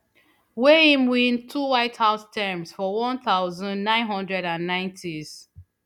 wey im win two white house terms for one thousand, nine hundred and ninetys